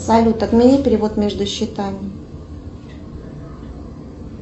салют отмени перевод между счетами